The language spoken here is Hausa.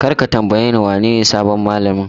Kar ka tambayeni wanene sabon mallamin!